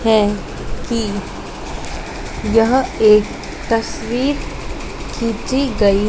है कि यह एक तस्वीर खींची गई--